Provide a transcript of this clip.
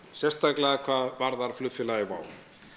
sérstaklega hvað varðar flugfélagið WOW